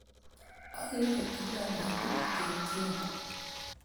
Akere kila petut kotyene